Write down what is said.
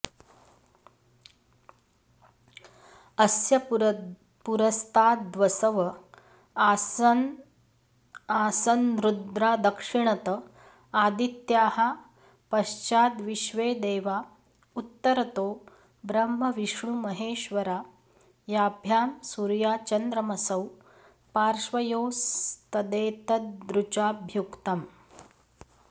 अस्य पुरस्ताद्वसव आसन्रुद्रा दक्षिणत आदित्याः पश्चाद्विश्वेदेवा उत्तरतो ब्रह्मविष्णुमहेश्वरा याभ्यां सूर्याचन्द्रमसौ पार्श्वयोस्तदेतदृचाभ्युक्तम्